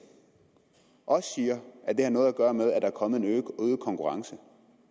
også siger at det har noget at gøre med at der er kommet en øget konkurrence